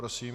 Prosím.